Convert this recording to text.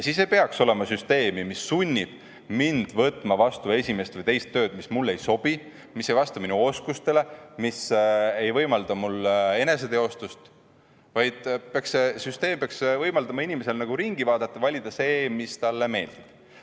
Siis ei peaks olema süsteemi, mis sunnib mind võtma vastu esimest või teist tööd, mis mulle ei sobi, mis ei vasta minu oskustele, mis ei võimalda mul eneseteostust, vaid see süsteem peaks võimaldama inimesel ringi vaadata ja valida see, mis talle meeldib.